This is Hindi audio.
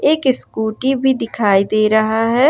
एक स्कूटी भी दिखाई दे रहा है।